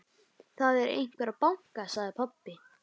Það er einhver að banka, sagði pabbi.